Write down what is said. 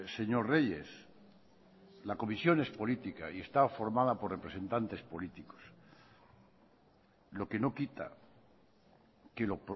señor reyes la comisión es política y está formada por representantes políticos lo que no quita que lo